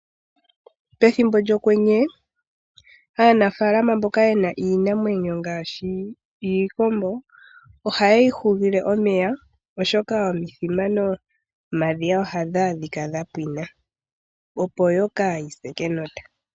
Pethimbo lyokwenye aanafaalama mboka yena iinamwenyo ngaashi iikombo. Ohaye yi hugile omeya, oshoka omithima momadhiya ohaga adhika gapwina opo kayi se kenota.